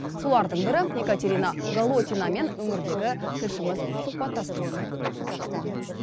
солардың бірі екатерина голотинамен өңірдегі тілшіміз сұхбаттасқан болатын